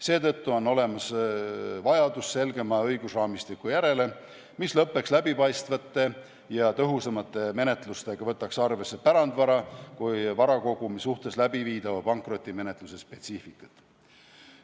Seetõttu on olemas vajadus selgema õigusraamistiku järele, mis lõppeks läbipaistvate ja tõhusamate menetlustega ning võtaks arvesse pärandvara kui varakogumi suhtes läbiviidava pankrotimenetluse spetsiifikat.